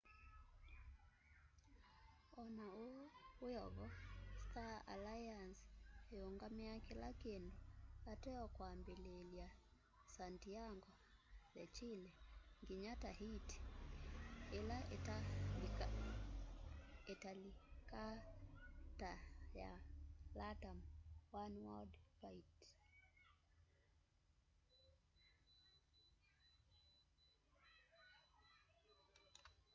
ona uu wiovo star aliance iungamia kila kindu ateo kwambililya santiago de chile nginya tahiti ila italikaa ta ya latam oneworld flight